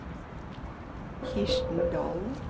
Kirsten Dahlen